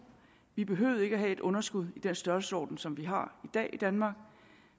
vi behøvede ikke have et underskud i den størrelsesorden som vi har i dag i danmark